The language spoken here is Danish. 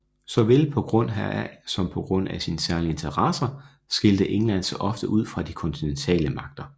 Såvel på grund heraf som på grund af sine særlige interesser skilte England sig ofte ud fra de kontinentale magter